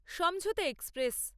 সমঝোতা এক্সপ্রেস